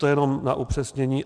To jen na upřesnění.